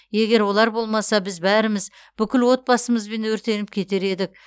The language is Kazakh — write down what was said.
егер олар болмаса біз бәріміз бүкіл отбасымызбен өртеніп кетер едік